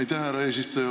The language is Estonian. Aitäh, härra eesistuja!